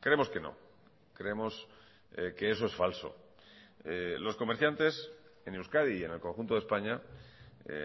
creemos que no creemos que eso es falso los comerciantes en euskadi y en el conjunto de españa